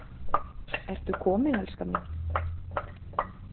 Ertu kominn, elskan mín?